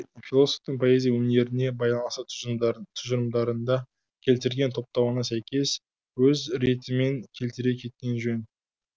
философтың поэзия өнеріне байланысты тұжырымдарында келтірген топтауына сәйкес өз ретімен келтіре кеткен жөн